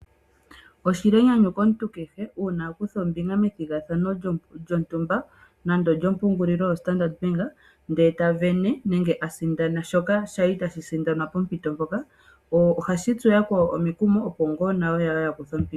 Oshili enyanyu komuntu kehe uuna a kutha ombinga methigathano lyontumba nande olyo mbungulilo yostandard bank nde eta vene nenge ta sindana shoka shali tashi sindanwa pompito mpoka, ohashi tsu yakwawo omukumo opo nayo ye ye ya kuthe ombinga.